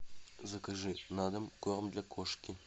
закажи на дом корм для кошки